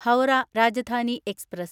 Howrah Rajdhani express